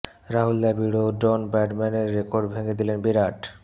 রাহুল দ্রাবিড় ও ডন ব্র্যাডম্যানের রেকর্ড ভেঙে দিলেন বিরাট